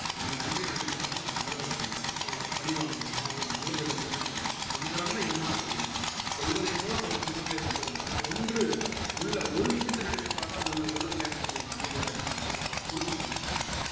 அந்த நன்றி நெனச்சு பாத்து நம்ம ஆறுதல் அடைஞ்சுகனும் அவுங்கள பழிவாங்கனுமா அவனோட மல்லு கட்டணும்னு நெனைக்ககூடாது ஒன்னேன்ற இன்னார் செயினும் கொள்வதை போல பல துன்பங்களை தந்திருந்தாலும் ஒன்று உள்ள ஒரு விஷயத்த நெனச்சுப்பாத்தா உள்ள உள்ளத்துல என்ன செஞ்சிருக்கும் அமைதி அடைஞ்சிக்கிட்டு அத பொறுத்து போகணும் அப்பிடின்றாரு அவரு